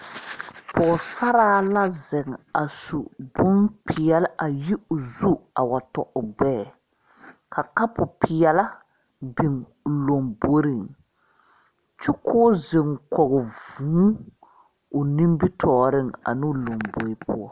Poɔsarre la zeng a su bunpeɛle ayi ɔ zu a wa tɔ ɔ gbee ka kapu peɛle bing ɔ lɔmboring kyukuu zeng koɔ vũũ ɔ nimitooring ane ɔ lɔmbori puo.